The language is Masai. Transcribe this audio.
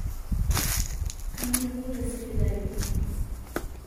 Kanu ipuku te sipitali